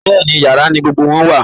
Bẹ́ẹ̀ ni, yàrá ni gbogbo wọn wà